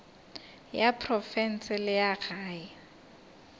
ya profense le ya gae